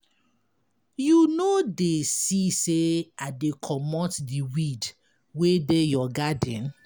You no dey see say I dey comot de weed wey dey your garden.